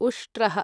उष्ट्रः